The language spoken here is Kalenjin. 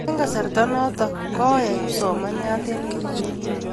eng' kasarta notok koek kipsomania eng' kericho